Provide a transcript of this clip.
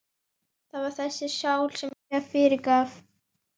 Það var þessari sál sem ég fyrirgaf.